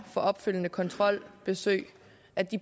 opfølgende kontrolbesøg